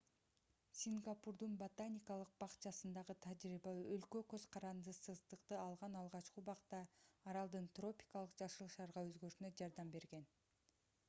сингапурдун ботаникалык бакчасындагы тажрыйба өлкө көз карандысыздыкты алган алгачкы убакта аралдын тропикалык жашыл шаарга өзгөрүшүнө жардам берген